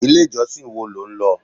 Ilé ìjọsìn wo lo ń lọ?